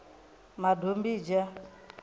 madombidzha